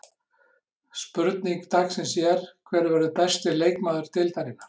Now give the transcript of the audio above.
Spurning dagsins er: Hver verður besti leikmaður deildarinnar?